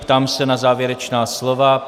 Ptám se na závěrečná slova.